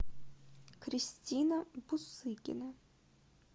кристина бусыкина